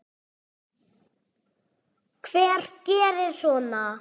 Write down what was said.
Hver gerir svona?